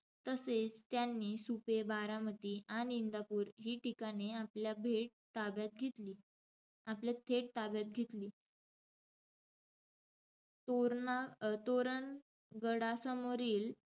तसेच त्यांनी सुपे, बारामती आणि इंदापूर ही ठिकाणे आपल्या भेट ताब्यात घेतली~ आपल्या थेट ताब्यात घेतली. तोरणा~ तोरणगडासमोरील,